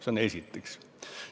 Seda esiteks.